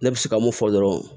Ne bɛ se ka mun fɔ dɔrɔn